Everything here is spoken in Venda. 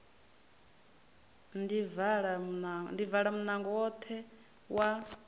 ḓi vala munango woṱhe wa